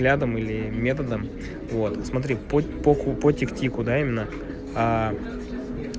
рядом или методом вот смотри по ку по тик тику да именно аа